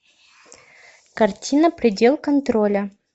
картина предел контроля